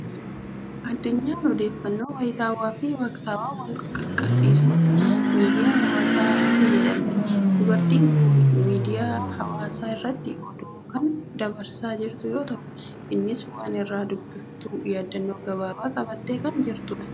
Addunyaan odeeffannoo wayitaawaa fi waqtaawaa wal qaqqaabsiisuuf miidiyaa hawaasaa fayyadamti. Dubartiin kun miidiiyaa hawaasaa irratti oduu kan dabarsaa jirtu yoo ta'u, innis waan irraa dubbiftu yaadannoo gabaabaa qabattee kan ta'udha.